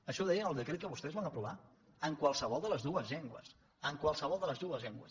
això ho deia el decret que vostès van aprovar en qualsevol de les dues llengües en qualsevol de les dues llengües